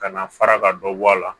Ka na fara ka dɔ bɔ a la